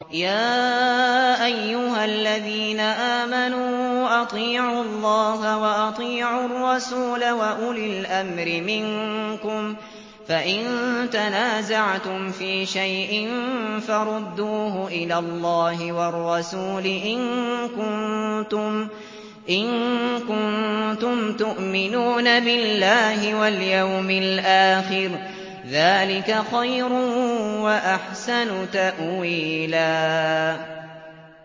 يَا أَيُّهَا الَّذِينَ آمَنُوا أَطِيعُوا اللَّهَ وَأَطِيعُوا الرَّسُولَ وَأُولِي الْأَمْرِ مِنكُمْ ۖ فَإِن تَنَازَعْتُمْ فِي شَيْءٍ فَرُدُّوهُ إِلَى اللَّهِ وَالرَّسُولِ إِن كُنتُمْ تُؤْمِنُونَ بِاللَّهِ وَالْيَوْمِ الْآخِرِ ۚ ذَٰلِكَ خَيْرٌ وَأَحْسَنُ تَأْوِيلًا